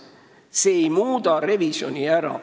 See ei jäta revisjoni ära.